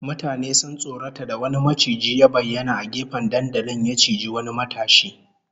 Mutane sun tsorata da wani maciji ya bayyana a gefen dandalin, ya ciji wani matashi